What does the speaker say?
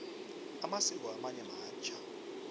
amasiko amanye matjha